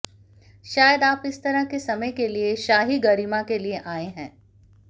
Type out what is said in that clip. शायद आप इस तरह के समय के लिए शाही गरिमा के लिए आए हैं